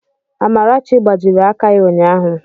Amarachi gbajiri aka ya ụnyahụ.